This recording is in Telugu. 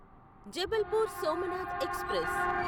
జబల్పూర్ సోమనాథ్ ఎక్స్ప్రెస్